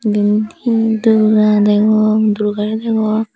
yen hi durga degon durgare degong.